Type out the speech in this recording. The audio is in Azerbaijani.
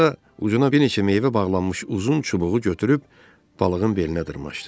Sonra ucuna bir neçə meyvə bağlanmış uzun çubuğu götürüb balığın belinə dırmaşdı.